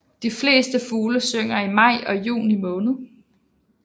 De fleste fugle synger i maj og juni måned